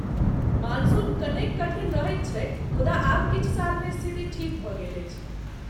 Monsoon कनेक कठिन रहैत छैक, मुदा आब किछु सालमे स्थिति ठीक भऽ गेल अछि।